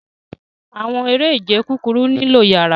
Awọn ere-ije kukuru nilo iyara